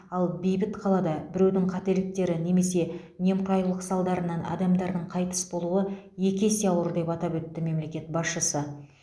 ал бейбіт қалада біреудің қателіктері немесе немқұрайлық салдарынан адамдардың қайтыс болуы екі есе ауыр деп атап өтті мемлекет басшысы